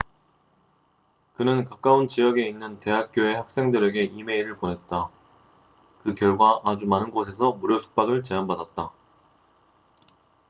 그는 가까운 지역에 있는 대학교의 학생들에게 이메일을 보냈다 그 결과 아주 많은 곳에서 무료 숙박을 제안받았다